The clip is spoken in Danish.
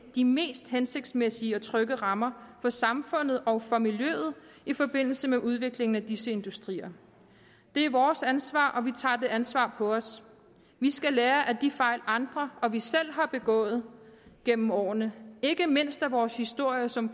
de mest hensigtsmæssige og trygge rammer for samfundet og for miljøet i forbindelse med udviklingen af disse industrier det er vores ansvar og vi tager det ansvar på os vi skal lære af de fejl andre og vi selv har begået gennem årene ikke mindst af vores historie som